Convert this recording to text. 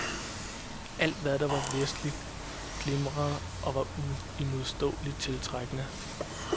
Alt, hvad der var vestligt, glimrede og var uimodståeligt tiltrækkende.